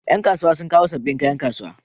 Ƴan kasuwa sun kawo sabbin kaya kasuwa